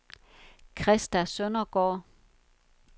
Christa Søndergaard